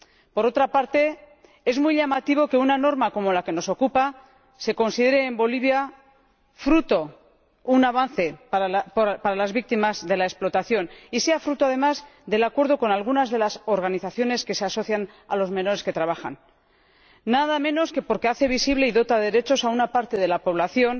Por otra parte, es muy llamativo que una norma como la que nos ocupa se considere en Bolivia un avance para las víctimas de la explotación y sea fruto, además, del acuerdo con algunas de las organizaciones que se asocian a los menores que trabajan, nada menos que porque hace visible y dota de derechos a una parte de la población